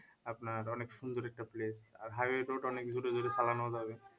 আপনার অনেক সুন্দর একটা place আর highway road অনেক জোরে জোরে চালানোও যাবে